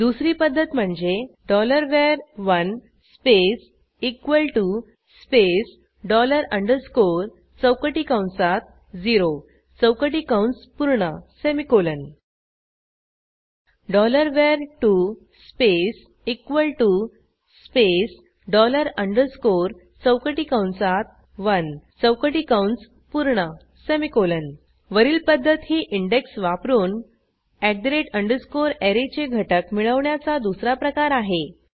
दुसरी पध्दत म्हणजे var1 space space dollar underscore चौकटी कंसात झेरो चौकटी कंस पूर्ण semicolon var2 space space dollar underscore चौकटी कंसात 1 चौकटी कंस पूर्ण सेमिकोलॉन वरील पध्दत ही इंडेक्स वापरून ऍरेचे घटक मिळवण्याचा दुसरा प्रकार आहे